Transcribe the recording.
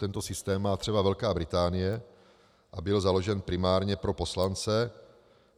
Tento systém má třeba Velká Británie a byl založen primárně pro poslance.